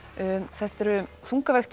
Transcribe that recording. þetta eru